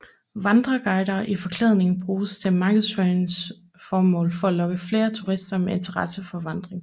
Vandreguider i forklædning bruges til markedsføringsformål for at lokke flere turister med interesse for vandring